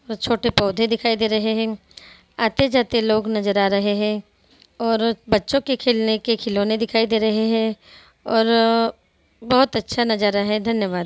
छोटे-छोटे पौधे दिखाई दे रहे हैं आते-जाते लोग नज़र आ रहे हैं और बच्चो के खेलने के खिलौने दिखाई दे रहे हैं और बहोत अच्छा नज़ारा है धन्यवाद।